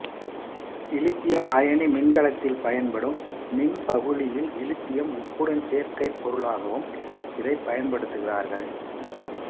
இலித்தியம் அயனி மின்கலத்தில் பயன்படும் மின்பகுளியில் இலித்தியம் உப்புடன் சேர்க்கைப் பொருளாகவும் இதை பயன்படுத்துகிறார்கள்